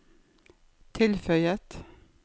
tilføyet